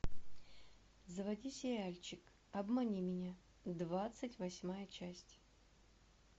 заводи сериальчик обмани меня двадцать восьмая часть